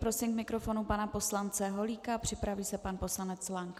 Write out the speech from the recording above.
Prosím k mikrofonu pana poslance Holíka, připraví se pan poslanec Lank.